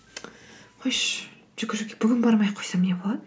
қойшы жүгіруге бүгін бармай ақ қойсам не болады